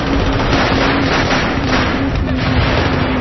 ये एक जगह है यहाँ पे काफी बड़े-बड़े पेड़ लगे हुए हैं।